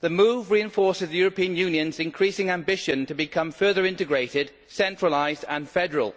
The move reinforces the European Union's increasing ambition to become further integrated, centralised and federal,